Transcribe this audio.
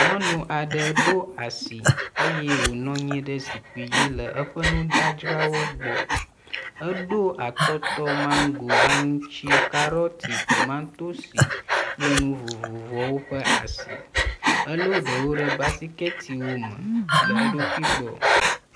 Nyɔnu aɖe ɖo asi eye wonɔ nyi ɖe zikpi dzi le eƒe nudzadzrawo gbɔ. Eɖo atɔtɔ, mango, aŋtsi, carroti, tomantosi kple nu vovovowo ƒe asi. Ele ɖewo ɖe basikɛtiwo me le eɖokui gbɔ.